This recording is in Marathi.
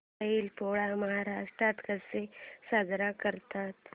बैल पोळा महाराष्ट्रात कसा साजरा करतात